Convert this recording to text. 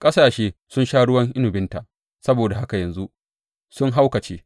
Ƙasashe sun sha ruwan inabinta, saboda haka yanzu sun haukace.